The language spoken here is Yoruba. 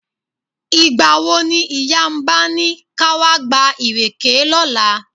Ìgbà wo ni ìyá Mba ni ká wá gba ìrèké lọ́la?